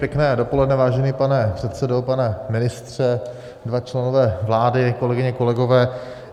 Pěkné dopoledne, vážený pane předsedo, pane ministře, dva členové vlády, kolegyně, kolegové.